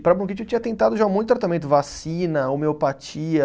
E para bronquite eu tinha tentado já um monte de tratamento, vacina, homeopatia